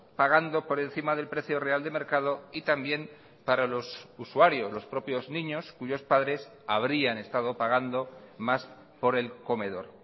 pagando por encima del precio real de mercado y también para los usuarios los propios niños cuyos padres habrían estado pagando más por el comedor